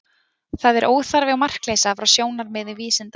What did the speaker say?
Það er óþarfi, og markleysa frá sjónarmiði vísinda.